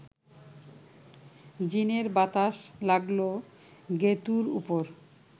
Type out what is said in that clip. জিনের বাতাস লাগল গেঁতুর ওপর